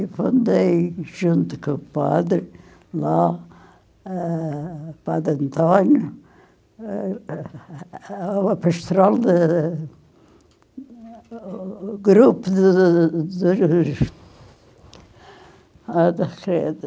Eu fundei, junto com o padre, lá, eh, o padre António, eh, a pastoral da do grupo dos dos...